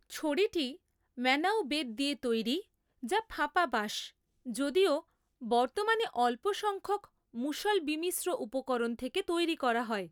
ছড়িটি ম্যানাউ বেত দিয়ে তৈরি, যা ফাঁপা বাঁশ, যদিও বর্তমানে অল্প সংখ্যক মুষল বিমিশ্র উপকরণ থেকে তৈরি করা হয়।